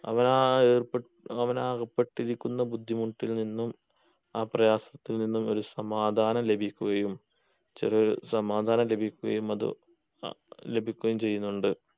അവനാ ഏർപെ അവനാ ഏർപ്പെട്ടിരിക്കുന്ന ബുദ്ധിമുട്ടിൽ നിന്നും ആ പ്രയാസത്തിൽ നിന്നും ഒരു സമാധാനം ലഭിക്കുകയും ചെറു സമാധാനം ലഭിക്കുകയും അത് അഹ് ലഭിക്കുകയും ചെയ്യുന്നുണ്ട്